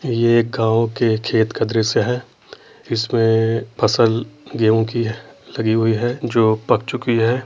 ये एक गाँव के छेत्र का दृश्य है इसमें फसल गेहुॅं की है लगी हुई है जो पक चुकी है।